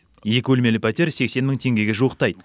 екі бөлмелі пәтер сексен мың теңгеге жуықтайды